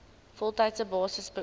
voltydse basis beoefen